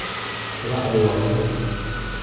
Quraacdu waa muhiim.